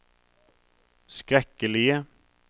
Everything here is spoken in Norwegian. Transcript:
skrekkelige